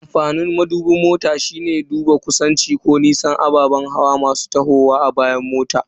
Amfanin madubin mota shine duba kusanci ko nisan ababen hawa masu tahowa a bayan mota.